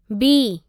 B